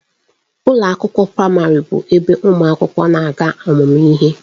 Ụlọ akwụkwọ praịmarị bụ ebe ụmụ akwụkwọ na-aga ọmụmụ ihe.